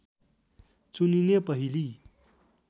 चुनिने पहिली